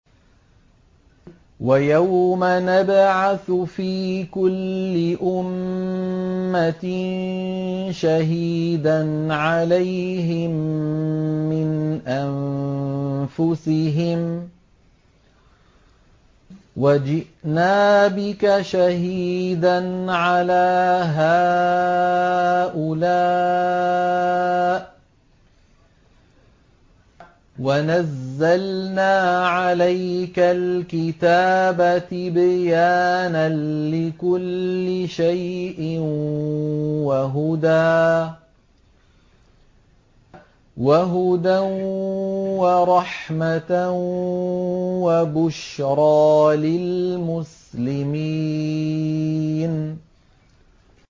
وَيَوْمَ نَبْعَثُ فِي كُلِّ أُمَّةٍ شَهِيدًا عَلَيْهِم مِّنْ أَنفُسِهِمْ ۖ وَجِئْنَا بِكَ شَهِيدًا عَلَىٰ هَٰؤُلَاءِ ۚ وَنَزَّلْنَا عَلَيْكَ الْكِتَابَ تِبْيَانًا لِّكُلِّ شَيْءٍ وَهُدًى وَرَحْمَةً وَبُشْرَىٰ لِلْمُسْلِمِينَ